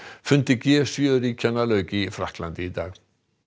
fundi g sjö ríkjanna lauk í Frakklandi í dag